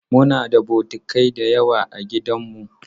Muna da bokitai da yawa a gidanmu.